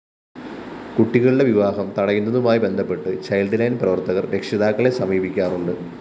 കുട്ടികളുടെ വിവാഹം തടയുന്നതുമായി ബന്ധപ്പെട്ട് ചൈല്‍ഡ്‌ലൈന്‍ പ്രവര്‍ത്തകര്‍ രക്ഷിതാക്കളെ സമീപിക്കാറുണ്ട്